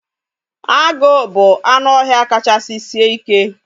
Agụ bụ anụ ọhịa kachasị sie ike